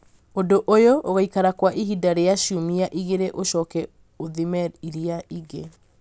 Ũndũ ũyũ ũgũikara kwa ihinda rĩa ciumia igĩrĩ ũcoke ũthime iria rĩngĩ